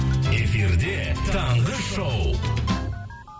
эфирде таңғы шоу